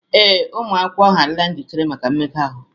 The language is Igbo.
Ee, ụmụ akwụkwọ ahụ adịla njikere maka mmega ahụ